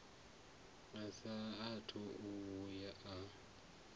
a saathu u vhuya a